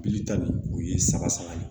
Bilita bi o ye sama sama ye